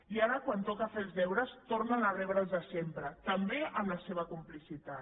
i ara quan toca fer els deures tornen a rebre els de sempre també amb la seva complicitat